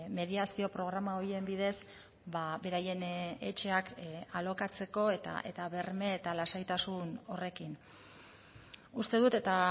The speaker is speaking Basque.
mediazio programa horien bidez beraien etxeak alokatzeko eta berme eta lasaitasun horrekin uste dut eta